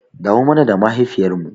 Dawo mana da mahaifiyar mu